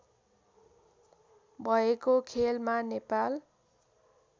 भएको खेलमा नेपाल